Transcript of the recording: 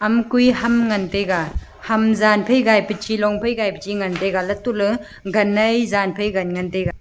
ama koi ham taiga ham zan phai zai tai chilong phai gai pe chigan tega antoley ganai zen phai gan ngan tega.